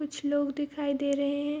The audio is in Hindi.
कुछ लोग दिखाई दे रहे हैं।